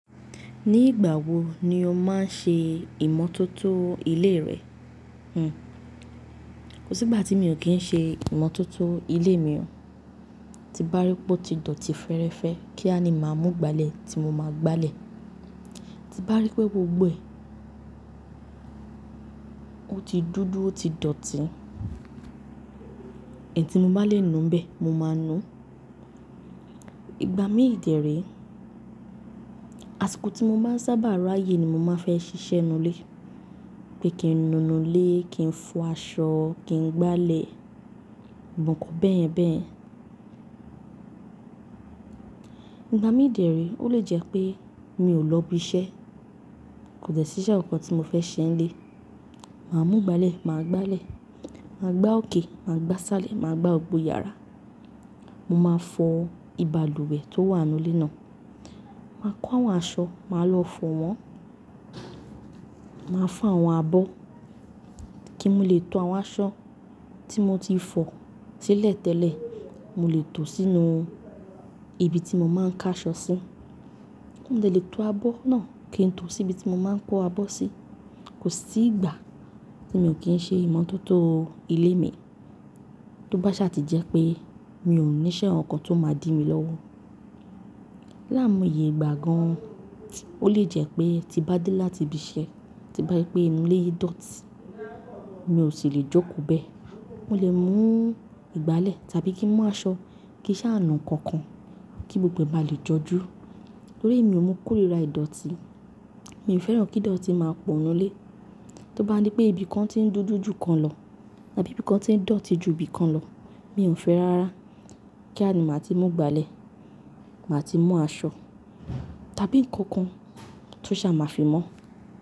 Ní ìgbà wo ni o máa ń ṣe ìmọ́tótó ilé rẹ? Kò sí ìgbà tí mi ò kí ń ṣe ìmọ́tótó ilé mi o. Ti n bá rí pé ó ti dọ̀tí fẹ́rẹ́fẹ́ kíá ni máa mú ìgbálẹ̀ tí mo máa gbálẹ̀. Ti bá rí pé gbogbo ẹ̀ ó ti dúdú ó ti dọ̀tí, N tí mo bálè nu n bẹ̀, mo máa nu. Ìgbà mí dére, àsìkò tí mo maa n sábà rayé ni mo máa fẹ́ ṣiṣẹ́ nù ilé. Pé kí n nu nù ilé, kí n fọ aṣọ, kí n gbálẹ̀, gbọgbo nnkan bẹ́yẹ̀n bẹ́yẹ̀n. Ìgbà mí dére ó lè jẹ́ pé mi ò lọ ibi iṣẹ́, kò dẹ́ ṣí iṣe kankan tí mo fẹ́ ṣe n ílé. Màá mú ìgbálẹ̀, màá gbálẹ̀, màá gbá òkè, màá gbá sálẹ̀, màá gbá gbó iyàrá. Mo máa fọ ìbalùwẹ̀ tó wà nú ilé náà. Màá kó àwọn aṣọ, màá lọ fọ̀ wọ́n. Màá fọ́ àwọn abọ́ kí n lè to àwọn aṣọ tí mo ti fọ̀ silẹ̀ tẹ́lẹ̀, mo lè tò sínú ibi tí mo máa ń ká aṣọ sí. Mò de lè to abọ́ náà kí n tò sí ibi tí mo máa ń kó abọ́ sí. Kò sí ìgbà tí mi ò kí ń ṣe ìmọ́tótó ilé mi tó bá sá ti jẹ́ pé mi ò ní iṣẹ́ àwọn nǹkan tó máa dí mi lọ́wọ́. Láàwon iye ìgbà gan, ó lè jẹ́ pé tí bá dé láti ibi iṣẹ́, tí bá rí pé inú ilé yìí dọ̀tí, mi ò sì lè jókòó bẹ́ẹ̀. Mo lè mú ìgbálẹ̀ tàbí kí n mú aṣọ, kí sá nu ǹnkan kan kí gbogbo ẹ̀ bá lè jọjú. Tórí èmi ò mo kóríra ìdọ̀tí, mi ò fẹ́ràn kí idọ̀tí máa pọ̀ nú ilé. Tó bá dí pé ibìkan ti ń dúdú jù kan lọ tàbí ibíkan ti ń dọ̀tí jù ibìkan lọ, mi ò fẹ́ rárá. Kíá ni màá ti mú ìgbálẹ̀, màá ti mú aṣọ tàbí ǹnkan kan tó sá máa fi mọ́.